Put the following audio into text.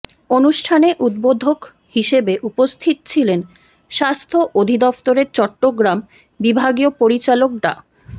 অনুষ্ঠানে উদ্বোধক হিসেবে উপস্থিত ছিলেন স্বাস্থ্য অধিদফতর চট্টগ্রাম বিভাগীয় পরিচালক ডা